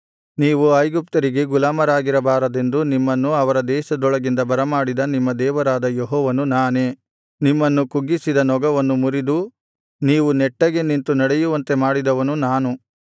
ನೀವು ಐಗುಪ್ತ್ಯರಿಗೆ ಗುಲಾಮರಾಗಿರಬಾರದೆಂದು ನಿಮ್ಮನ್ನು ಅವರ ದೇಶದೊಳಗಿಂದ ಬರಮಾಡಿದ ನಿಮ್ಮ ದೇವರಾದ ಯೆಹೋವನು ನಾನೇ ನಿಮ್ಮನ್ನು ಕುಗ್ಗಿಸಿದ ನೊಗವನ್ನು ಮುರಿದು ನೀವು ನೆಟ್ಟಗೆ ನಿಂತು ನಡೆಯುವಂತೆ ಮಾಡಿದವನು ನಾನು